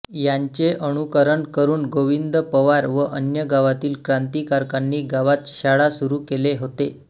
यांचे अनुकरण करून गोविंद पवार व अन्य गावातील क्रांतीकारकांनी गावात शाळा सुरू केले होते